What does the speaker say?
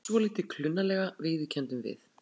Svolítið klunnalega, viðurkenndum við.